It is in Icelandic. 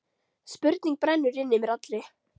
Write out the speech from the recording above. Spurning brennur inn í mér allri.